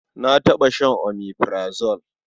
Na taɓa shan omeprazole.